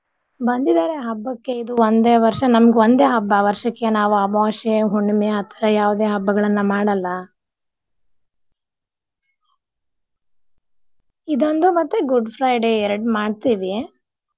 ಬಂದಿದಾರೆ ಹಬ್ಬಕ್ಕೆ ಇದು ಒಂದೆ ವರ್ಷ ನಮ್ಗ ಒಂದೇ ಹಬ್ಬ ವರ್ಷಕ್ಕೆ ನಾವ ಅಮಾವಾಸ್ಯೆ ಹುಣ್ಣಿಮೆ ಆ ತರ ಯಾವ್ದೆ ಹಬ್ಬಗಳನ್ನ ಮಾಡಲ್ಲಾ. ಇದೊಂದು ಮತ್ತೆ Good Friday ಎರಡ್ ಮಾಡ್ತೀವಿ.